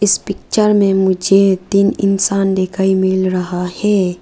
Picture में मुझे तीन इंसान दिखाई मिल रहा है।